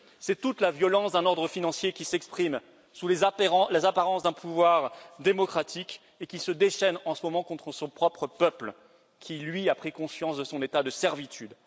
C'est toute la violence d'un ordre financier qui s'exprime sous les apparences d'un pouvoir démocratique et qui se déchaîne en ce moment contre son propre peuple, qui, lui, a pris conscience de son état de servitude.